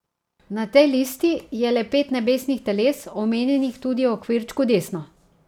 Na tej listi je le pet nebesnih teles, omenjenih tudi v okvirčku desno.